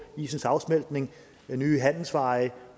isens afsmeltning nye handelsveje